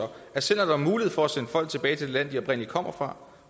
at selv når der er mulighed for at sende folk tilbage til det land de oprindelig kommer